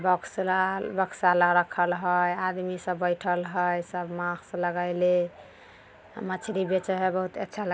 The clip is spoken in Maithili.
बॉक्स लाल बक्सा लंग राखल हई आदमी सब बैठल हई सब मास्क लगेले मछली बेचे हई बहुत अच्छा --